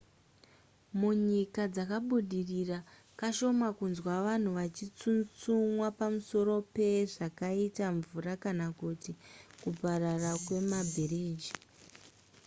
munyika dzakabudira kashoma kunzwa vanhu vachitsutsumwa pamusoro pezvakaita mvura kana kuti kuparara kwemabhiriji